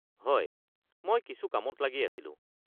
হয়! মই কিছু কামত লাগি আছিলো।